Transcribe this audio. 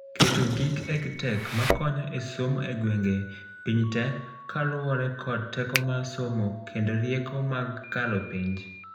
keto gik EdTech makonyo e somo ei gwengee piny te kaluore kod teko mar somokendo rieko mar kalo penj